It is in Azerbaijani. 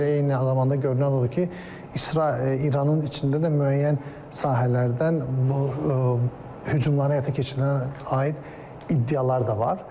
Eyni zamanda görünən odur ki, İsrail İranın içində də müəyyən sahələrdən hücumlara həyata keçirməyə aid iddialar da var.